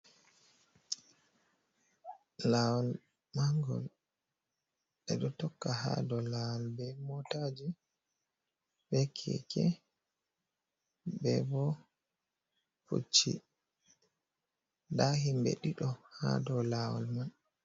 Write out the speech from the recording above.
Lawol mangol, ɓe ɗo tokka ha dou lawol be motaji, be keke, be bo pucci nda himɓe ɗiɗo ha dou lawol man.